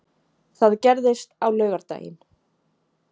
Það gerðist á laugardaginn.